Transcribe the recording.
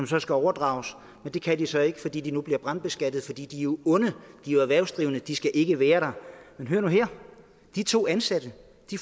så skal overdrages det kan de så ikke fordi de nu bliver brandbeskattet for de er jo onde de er jo erhvervsdrivende de skal ikke være der men hør nu her de to ansatte